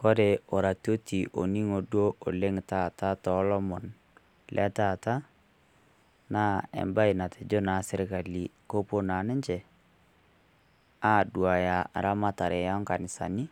Kore orarioti oning'o duoo oleng taata to lomon le taata , naa ebaye natejoo naa sirkali kopoo naa ninchee aduaya ramatare e nkanisani